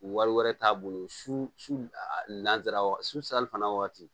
Wari wɛrɛ t'a bolo su a lanzarawa su salifana waati